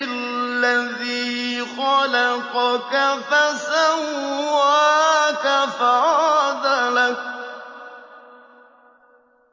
الَّذِي خَلَقَكَ فَسَوَّاكَ فَعَدَلَكَ